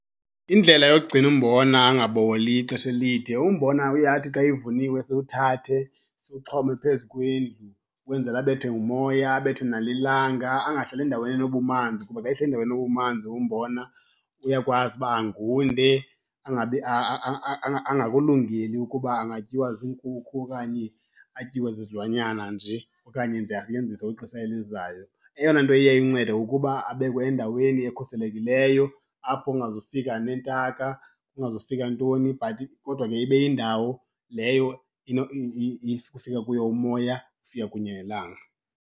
Indlela yokugcina umbona angaboli ixesha elide, umbona uye athi xa evuniwe siwuthathe siwuxhome phezu kwendlu ukwenzela abethwe ngumoya abethwe nalilanga. Angahlali endaweni enobumanzi kuba xa ehleli endaweni enobumanzi umbona uyakwazi uba angunde angabi, angakulungeli ukuba angatyiwa ziinkukhu okanye atyiwe zizilwanyana nje okanye nje asetyenziswe kwixesha elizayo. Eyona nto iye imncede kukuba abekwe endaweni ekhuselekileyo apho kungazufika neentaka, kungazufika ntoni but kodwa ke ibe yindawo leyo kufika kuyo umoya kufika kunye nelanga.